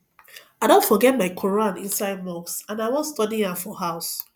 i don forget my quran inside mosque and i wan study am for house